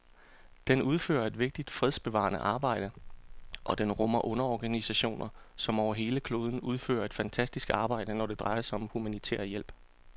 Den udfører et vigtigt fredsbevarende arbejde, og den rummer underorganisationer, som over hele kloden udfører et fantastisk arbejde, når det drejer sig om humanitær hjælp.